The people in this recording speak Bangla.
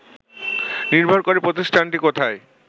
নির্ভর করে প্রতিষ্ঠানটি কোথায়